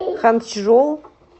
ханчжоу